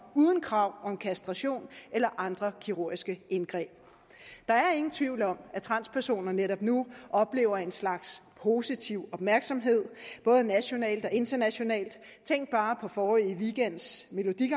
uden krav om kastration eller andre kirurgiske indgreb der er ingen tvivl om at transpersoner netop nu oplever en slags positiv opmærksomhed både nationalt og internationalt tænk bare på forrige weekends melodi